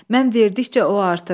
Mən verdikcə o artır.